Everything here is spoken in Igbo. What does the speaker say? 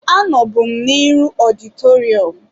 Anọbu m n'iru ọditorịum